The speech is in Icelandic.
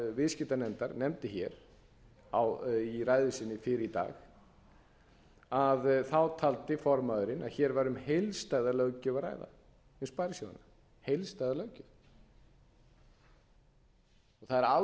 viðskiptanefndar nefndi í ræðu sinni fyrr í dag taldi formaðurinn að hér væri um heildstæða löggjöf að ræða um sparisjóðina það er algjörlega